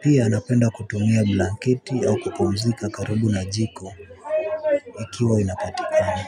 pia napenda kutumia blanketi au kupumzika karibu na jiko ikiwa inapatikani.